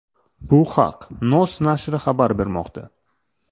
Bu haq NOS nashri xabar bermoqda .